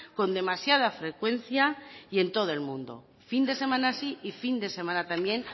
con demasiada frecuencia y en todo el mundo fin de semana sí y fin de semana también